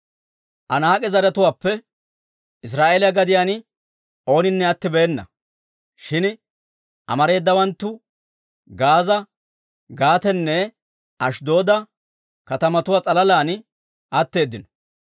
Anaak'e zaratuwaappe Israa'eeliyaa gadiyaan ooninne attibeena; shin amareedawanttu Gaaza, Gaatenne Ashddooda katamatuwaa s'alalan atteeddino.